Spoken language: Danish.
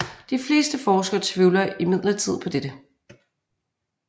De fleste forskere tvivler imidlertid på dette